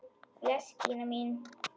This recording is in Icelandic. Bless Gína mín!